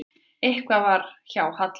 Eitthvað var að hjá Halla.